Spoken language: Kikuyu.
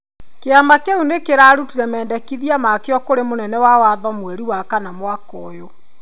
Kĩama kĩu nĩ kĩrarutire mendekithia makĩo kũrĩ mũnene wa watho mweri wa kana mwaka ũyũ.